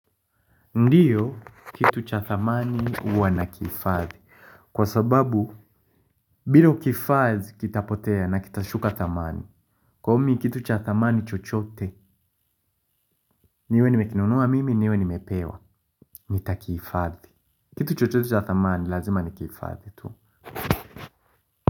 Ndio kitu cha thamani huwa nakihifadhi. Kwa sababu bila kukihifadhi kitapotea na kitashuka dhamani. Kwa hivyo mimi, kitu cha thamani chochote, niwe nimekinunua mimi niwe nimepewa, nitakihifadhi. Kitu chochote cha thamani, lazima nikihifadhi.